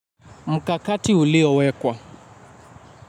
Mkakati ulio wekwa.